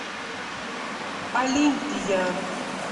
олимпия